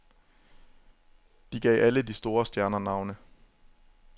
De gav alle de store stjerner navne.